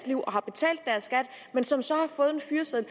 liv og har betalt deres skat men som så har fået en fyreseddel